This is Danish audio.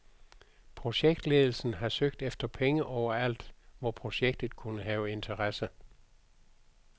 Projektledelsen har søgt efter penge overalt, hvor projektet kunne have interesse.